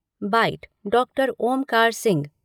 bite doctor Omkar Singh,